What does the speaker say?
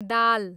दाल